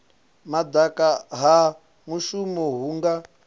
madaka ha muvhuso hu nga